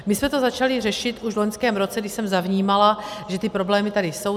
My jsme to začali řešit už v loňském roce, kdy jsem zavnímala, že ty problémy tady jsou.